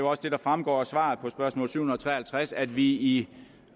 også det der fremgår af svaret på spørgsmål syv hundrede og tre og halvtreds at vi i